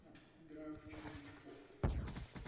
ну играю в червячков